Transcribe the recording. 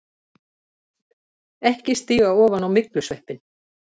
EKKI STÍGA OFAN Á MYGLUSVEPPINN!